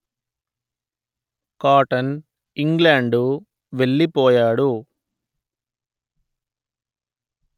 cotton England వెళ్ళిపోయాడు